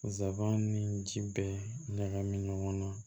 Zaban ni ji bɛ ɲagami ɲɔgɔn na